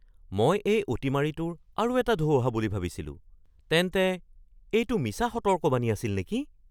মই এই অতিমাৰীটোৰ আৰু এটা ঢৌ অহা বুলি ভাবিছিলোঁ। তেন্তে এইটো মিছা সতৰ্কবাণী আছিল নেকি?